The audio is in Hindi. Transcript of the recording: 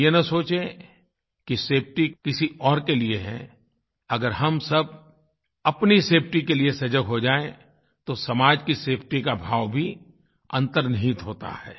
हम ये न सोचें कि सेफटी किसी और के लिए है अगर हम सब अपनी सेफटी के लिए सजग हो जाएँ तो समाज की सेफटी का भाव भी अन्तर्निहित होता है